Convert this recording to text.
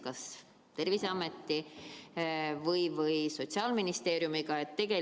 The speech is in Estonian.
Kas see on kuidagi Terviseameti või Sotsiaalministeeriumiga koordineeritud?